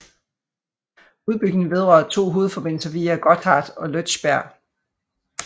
Udbygningen vedrører to hovedforbindelser via Gotthard og Lötschberg